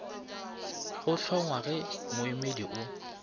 go hlongwa ge moemedi o